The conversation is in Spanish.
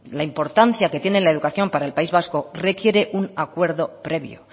la importancia que tiene la educación para el país vasco requiere un acuerdo previo